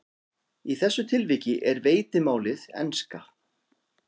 Í þessu tilviki er veitimálið enska.